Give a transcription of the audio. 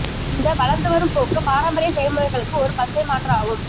இந்த வளர்ந்துவரும் போக்கு பாரம்பரிய செயல்முறைகளுக்கு ஒரு பச்சை மாற்று ஆகும்